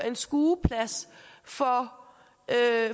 en skueplads for